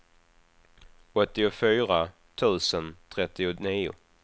åttiofyra tusen trettionio